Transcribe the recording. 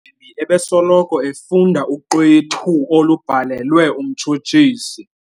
Umgwebi ebesoloko efunda uxwethu olubhalelwe umtshutshisi.